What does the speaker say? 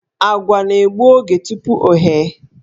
Àgwà na-egbu oge tupu o ghee.